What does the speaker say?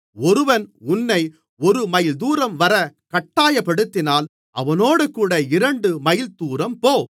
ஒருவன் உன்னை ஒரு மைல்தூரம் வரக் கட்டாயப்படுத்தினால் அவனோடுகூட இரண்டு மைல்தூரம் போ